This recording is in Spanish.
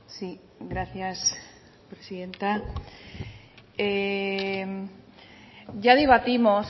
sí gracias presidenta ya debatimos